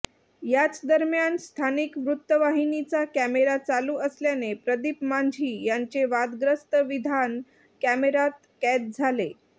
याचदरम्यान स्थानिक वृत्तवाहिनीचा कॅमेरा चालू असल्याने प्रदीप मांझी यांचे वादग्रस्त विधान कॅमेरात कैद झाले